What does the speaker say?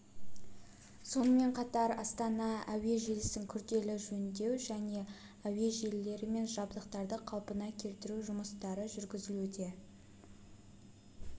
сонымен қатар астана кв-тық әуе желісін күрделі жөндеу кв-тық және кв-тық әуе желілері мен жабдықтарды қалпына келтіру жұмыстары жүргізілуде